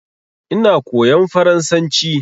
Ina koyan faransanci